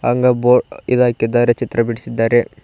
ಅಂಗ ಬೊ ಇದಾಕಿದ್ದಾರೆ ಚಿತ್ರ ಬಿಡಿಸಿದ್ದಾರೆ.